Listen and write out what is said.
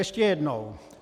Ještě jednou.